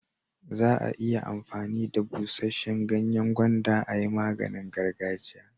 Za'a iya amfani da busheshen ganyen gwanda a'yi maganin gargajiya.